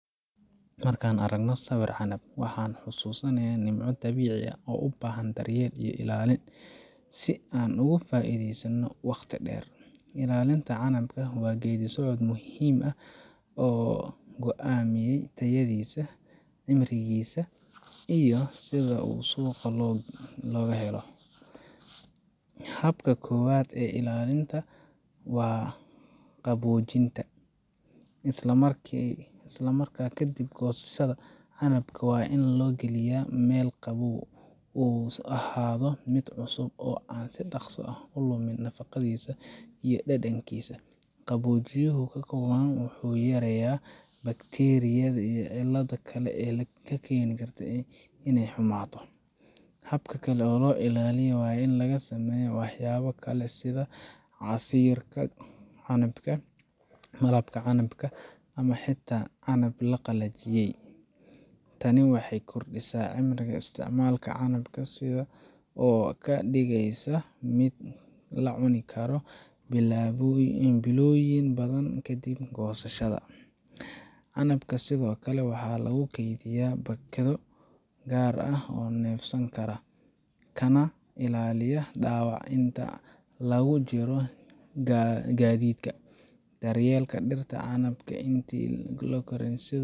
Markaan aragno sawirka canab, waxaan xasuusannaa nimco dabiici ah oo u baahan daryeel iyo ilaalin si aan ugu faa’iidaysanno wakhti dheer. Ilaalinta canabka waa geedi socod muhiim ah oo go’aamiya tayadiisa, cimrigiisa, iyo sida uu suuq uga helo Habka koowaad ee ilaalinta waa qaboojinta. Isla markiiba ka dib goosashada, canabka waxaa loo gelinayaa meel qabow si uu u ahaado mid cusub oo aan si dhaqso leh u lumin nafaqadiisa iyo dhadhankiisa. Qaboojiyaha ku habboon wuxuu yareeyaa bakteeriyada iyo cilladaha kale ee keeni kara inay xumaato. Hab kale oo loo ilaaliyo waa in laga sameeyo waxyaabo kale sida casiirka canabka, malabka canabka, ama xataa canab la qalajiyey. Tani waxay kordhisaa cimriga isticmaalka canabka oo ka dhigaysa mid la cuni karo bilooyin badan kadib goosashada. Canabka sidoo kale waxaa lagu kaydiyaa baakado gaar ah oo neefsan kara, kana ilaalinaya dhaawac inta lagu jiro gaadiidka. Daryeelka dhirta canabka intii ay korayeen sidoo